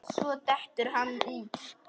Svo dettur hann út.